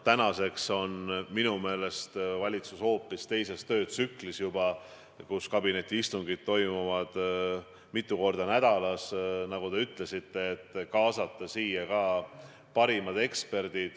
Tänaseks aga on valitsus minu meelest juba hoopis teistsuguses töötsüklis: kabinetiistungid toimuvad mitu korda nädalas ja nagu te ütlesite, me kaasame ka parimaid eksperte.